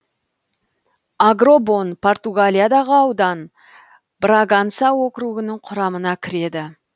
агробон португалиядағы аудан браганса округінің құрамына кіреді